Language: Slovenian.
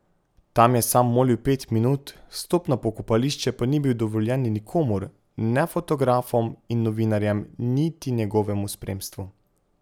Tam je sam molil pet minut, vstop na pokopališče pa ni bil dovoljen nikomur, ne fotografom in novinarjem, niti njegovemu spremstvu.